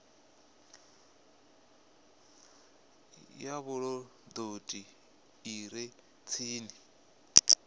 ya vhulondoti i re tsini